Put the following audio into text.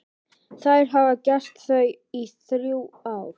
Þær hafa gert það í þrjú ár.